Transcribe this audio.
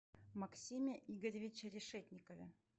максиме игоревиче решетникове